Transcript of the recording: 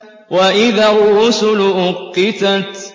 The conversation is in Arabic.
وَإِذَا الرُّسُلُ أُقِّتَتْ